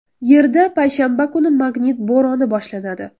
Yerda payshanba kuni magnit bo‘roni boshlanadi.